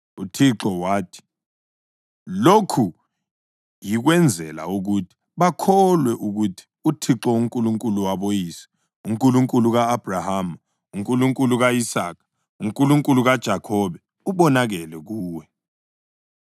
UThixo wathi, “Lokhu yikwenzela ukuthi bakholwe ukuthi uThixo, uNkulunkulu waboyise, uNkulunkulu ka-Abhrahama, uNkulunkulu ka-Isaka loNkulunkulu kaJakhobe ubonakele kuwe.”